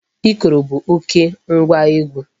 Ikoro bụ oké ngwa egwu.